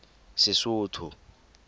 sesotho